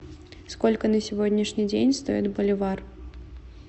сколько на сегодняшний день стоит боливар